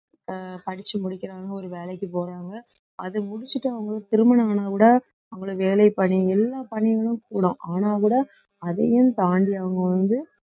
அஹ் படிச்சு முடிக்கிறாங்க ஒரு வேலைக்கு போறாங்க அது முடிச்சுட்டு அவங்க திருமணம் ஆனா கூட அவங்களை எல்லா பணிகளும் கூடும் ஆனா கூட அதையும் தாண்டி அவங்க வந்து